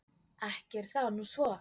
Ekki er það nú svo.